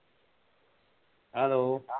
Hello